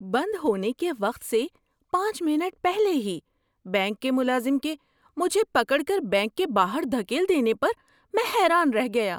بند ہونے کے وقت سے پانچ منٹ پہلے ہی بینک کے ملازم کے مجھے پکڑ کر بینک کے باہر دھکیل دینے پر میں حیران رہ گیا۔